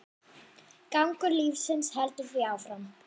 Gangur lífsins heldur því áfram.